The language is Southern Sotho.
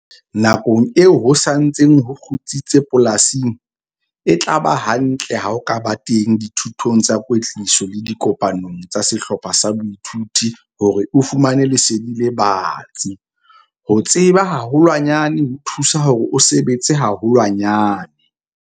Nakong eo ho sa ntseng ho kgutsitse polasing, e tla ba hantle ha o ka ba teng dithutong tsa kwetliso le dikopanong tsa sehlopha sa boithuto hore o fumane lesedi le batsi - ho tseba haholwanyane ho thusa hore o sebetse haholwanyane!